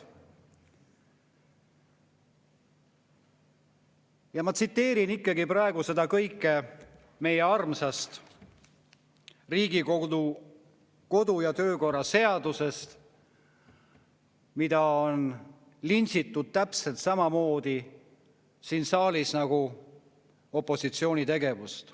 Ma tsiteerin seda kõike meie armsast Riigikogu kodu‑ ja töökorra seadusest, mida on siin saalis lintšitud täpselt samamoodi nagu opositsiooni tegevust.